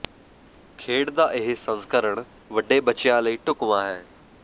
ਖੇਡ ਦਾ ਇਹ ਸੰਸਕਰਣ ਵੱਡੇ ਬੱਚਿਆਂ ਲਈ ਢੁਕਵਾਂ ਹੈ